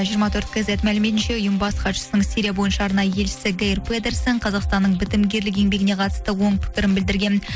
жиырма төрт кейзет мәліметінше ұйым бас хатшысының сирия бойынша арнайы елшісі гейр педерсен қазақстанның бітімгерлік еңбегіне қатысты оң пікірін білдірген